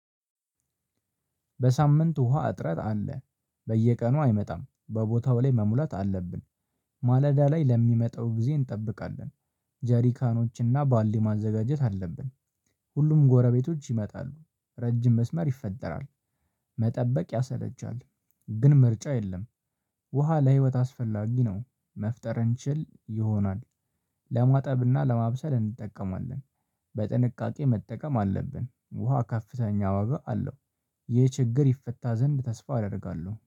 በሳምንት ውሃ እጥረት አለ። በየቀኑ አይመጣም በቦታው ላይ መሙላት አለብን። ማለዳ ላይ ለሚመጣው ጊዜ እንጠብቃለን። ጀሪካኖችና ባልዲ ማዘጋጀት አለብን። ሁሉም ጎረቤቶች ይመጣሉ ረጅም መስመር ይፈጠራል። መጠበቅ ያሰለቻል። ግን ምርጫ የለም። ውሃ ለህይወት አስፈላጊ ነው መፍጠር እንችል ይሆናል። ለማጠብና ለማብሰል እንጠቀማለን። በጥንቃቄ መጠቀም አለብን ውሃ ከፍተኛ ዋጋ አለው። ይህ ችግር ይፈታ ዘንድ ተስፋ አደርጋለሁ